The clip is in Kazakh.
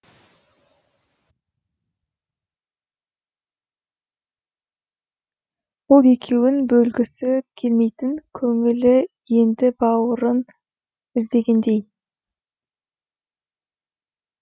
бұл екеуін бөлгісі келмейтін көңілі енді бауырын іздегендей